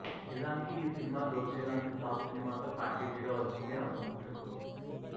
నిజానికి ఈ సినిమా దోచేయ్ లాంటి ఫ్లాప్ సినిమాతో ప్యాకేజీగా వచ్చింది ఆ సంస్థకు